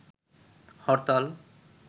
হরতাল